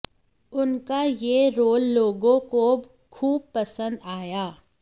उनका यह रोल लोगों को खूब पसंद आया